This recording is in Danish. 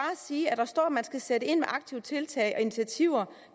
sige at der står at man skal sætte ind med aktive tiltag og initiativer